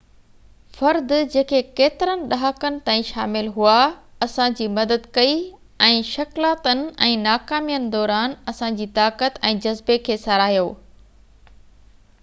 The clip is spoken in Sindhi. فرد جيڪي ڪيترن ڏهاڪن تائين شامل هئا اسان جي مدد ڪئي ۽ شڪلاتن ۽ ناڪامين دوران اسان جي طاقت ۽ جذبي کي ساراهيو